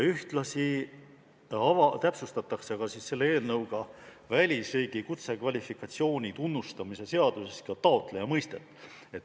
Ühtlasi täpsustatakse selle eelnõuga välisriigi kutsekvalifikatsiooni tunnustamise seaduses taotleja mõistet.